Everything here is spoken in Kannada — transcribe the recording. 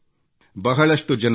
ಬಹಳಷ್ಟು ಜನರು ಡಾ